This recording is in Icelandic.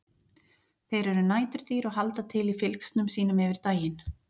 Þeir eru næturdýr og halda til í fylgsnum sínum yfir daginn.